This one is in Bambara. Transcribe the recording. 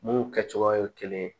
Mun kɛ cogoya ye kelen ye